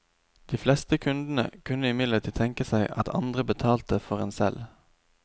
De fleste kundene kunne imidlertid tenke seg at andre betalte for en selv.